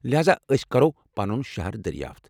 لہاذا ،أسۍ كرو پنُن شہر دریافت۔